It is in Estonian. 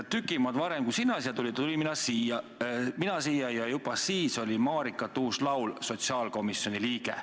Tüki maad varem, kui sina siia tulid, tulin siia mina ja juba siis oli Marika Tuus-Laul sotsiaalkomisjoni liige.